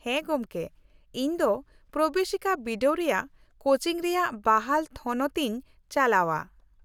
-ᱦᱮᱸ ᱜᱚᱢᱠᱮ, ᱤᱧ ᱫᱚ ᱯᱨᱚᱵᱮᱥᱤᱠᱟ ᱵᱤᱰᱟᱹᱣ ᱨᱮᱭᱟᱜ ᱠᱳᱪᱤᱝ ᱨᱮᱭᱟᱜ ᱵᱟᱦᱟᱞ ᱛᱷᱚᱱᱚᱛ ᱤᱧ ᱪᱟᱞᱟᱣᱼᱟ ᱾